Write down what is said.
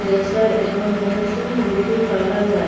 Sir एवं men's beauty parlour है।